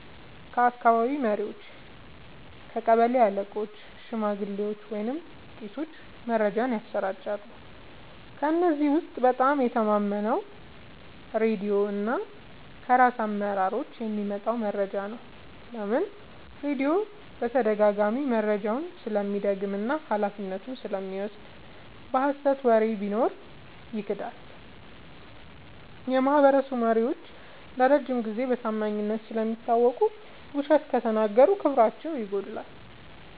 ከአካባቢ መሪዎች – ቀበሌ አለቆች፣ ሽማግሌዎች ወይም ቄሶች መረጃን ያሰራጫሉ። ከእነዚህ ውስጥ በጣም የምተማመነው ራድዮ እና ከራስ አመራሮች የሚመጣ መረጃ ነው። ለምን? · ራድዮ በተደጋጋሚ መረጃውን ስለሚደግም እና ኃላፊነቱን ስለሚወስድ። የሀሰት ወሬ ቢኖር ይክዳል። · የማህበረሰብ መሪዎች ለረጅም ጊዜ በታማኝነት ስለሚታወቁ፣ ውሸት ከተናገሩ ክብራቸው ይጎዳል።